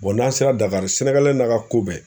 n'an sera DAKARI n'a ka ko bɛɛ.